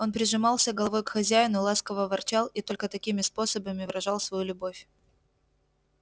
он прижимался головой к хозяину ласково ворчал и только такими способами выражал свою любовь